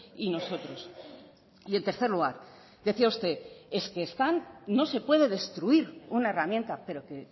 y nosotros y en tercer lugar decía usted es que están no sé puede destruir una herramienta pero que